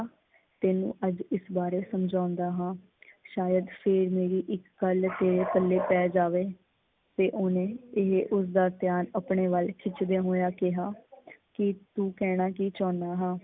ਤੈਨੂੰ ਅੱਜ ਇਸ ਬਾਰੇ ਸਮਝਾਉਂਦਾ ਹਾਂ। ਸ਼ਾਇਦ ਫਿਰ ਮੇਰੀ ਇੱਕ ਗੱਲ ਤੇਰੇ ਪੱਲੇ ਪੈ ਜਾਵੇ ਤੇ ਓਹਨੇ ਉਸਦਾ ਧਿਆਨ ਆਪਣੇ ਵੱਲ ਖਿੱਚਦਿਆ ਹੋਇਆ ਕਿਹਾ ਕੀ ਤੂੰ ਕਹਿਣਾ ਕੀ ਚਾਹੁੰਦਾ ਹਾਂ?